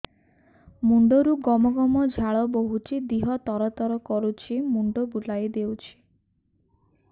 ମୁଣ୍ଡରୁ ଗମ ଗମ ଝାଳ ବହୁଛି ଦିହ ତର ତର କରୁଛି ମୁଣ୍ଡ ବୁଲାଇ ଦେଉଛି